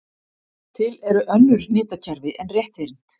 Til eru önnur hnitakerfi en rétthyrnd.